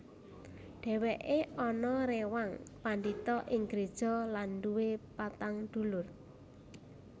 Dhèwèké anak réwang pandhita ing gréja lan nduwé patang dulur